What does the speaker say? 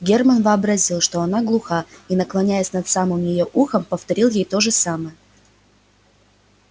германн вообразил что она глуха и наклонясь над самым её ухом повторил ей то же самое